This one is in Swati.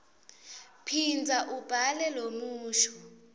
phindza ubhale lomusho